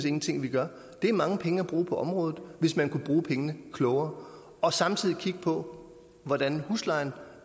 ingenting gør er mange penge at bruge på området hvis man kunne bruge pengene klogere og samtidig kigge på hvordan huslejen